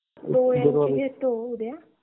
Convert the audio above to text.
डोळ्याची घेतो उद्या.